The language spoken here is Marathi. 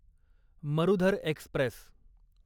मरुधर एक्स्प्रेस